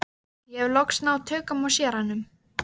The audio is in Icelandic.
Ég hef loks náð tökum á séranum.